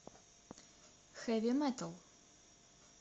хэви метал